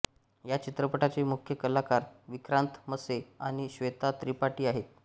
या चित्रपटाचे मुख्य कलाकार विक्रांत मस्से आणि श्वेता त्रिपाठी आहेत